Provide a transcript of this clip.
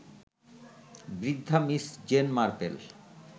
বৃদ্ধা Miss Jane Marple